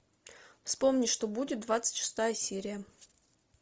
вспомни что будет двадцать шестая серия